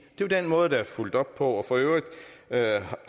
jo den måde der er fulgt op på for øvrigt